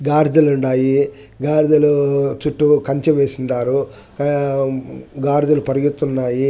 గాడిదలున్నాయి గాడిదలు చుట్టూ కంచె వేసుండారు గాడిదలు పరిగెతున్నాయి.